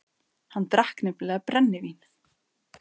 Hann drakk nefnilega BRENNIVÍN.